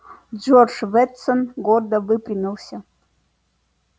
джордж вестон гордо выпрямился